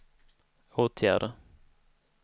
åtgärder